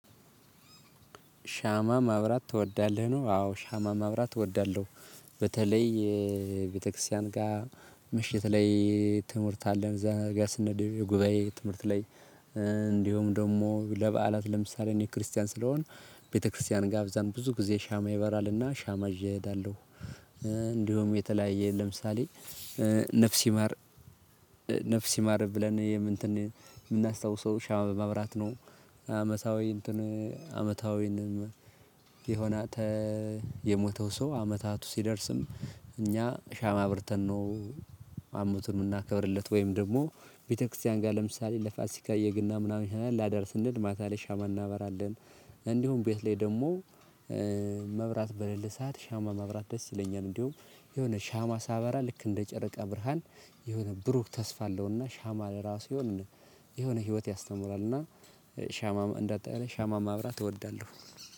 ሻማ ማብራት ትወዳለህ ነው። አዎ ሻማ ማብራት እወዳለሁ። በተለይ ቤተክርስቲያን ጋር ምሽት ላይ ትምህርት አለን እዛ ጋር ስንሄድ ጉባኤ ትምህርት ላይ እንዲሁም ደግሞ ለበዓላት ለምሳሌ እኔ ክርስቲያን ስለሆን ቤተክርስቲያን ጋር እዛም ብዙ ጊዜ ሻማ ይበራልና ሻማ ይዤ ሄዳለሁ። እንዲሁም የተለያየ ለምሳሌ ነፍስ ይማር ይማር ብለን እንትን የምናስታውሰው ሻማ በማብራት ነው። አመታዊ እንትኑ አመታዊ የሆነ የሞተው ሰው አመታቱ ሲደርስም እኛ ሻማ አብርተን ነው አመቱን የምናከብርለት ወይም ደግሞ ቤተክርስቲያን ጋር ለምሳሌ ለፋሲካ የገና ምናምን ላደርስ እንል ማታ ላይ ሻማ እናበራለን። እንዲሁም ቤት ላይ ደግሞ መብራት በሌላ ሰዓት ሻማ መብራት ደስ ይለኛል። እንዲሁም የሆነ ሻማ ሳበራ ልክ እንደ ጨረቃ ብርሃን የሆነ ብሩክ ተስፋ አለውና ሻማ ለራሱ የሆነ የሆነ ህይወት ያስተምራልና ሻማ እንደ ሻማ ማብራት እወዳለሁ